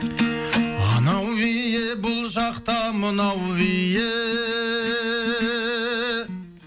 анау биі бұл жақта мынау биі